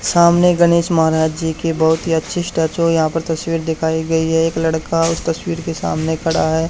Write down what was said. सामने गणेश महाराज जी की बहुत ही अच्छी स्टैचू यहां पर तस्वीर दिखाई गई है एक लड़का उस तस्वीर के सामने खड़ा है।